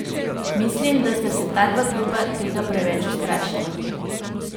Mislim, da sta se ta dva kluba tega preveč ustrašila.